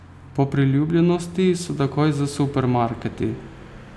Po priljubljenosti so takoj za supermarketi.